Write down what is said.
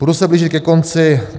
Budu se blížit ke konci.